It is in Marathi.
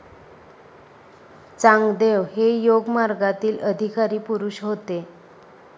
चांगदेव हे योगमार्गातील अधिकारी पुरुष होते.